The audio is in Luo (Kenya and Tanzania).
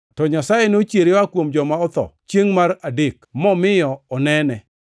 to Nyasaye nochiere oa kuom joma otho chiengʼ mar adek, momiyo onene.